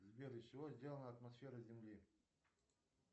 сбер из чего сделана атмосфера земли